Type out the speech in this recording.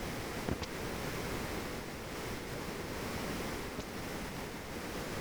сабирова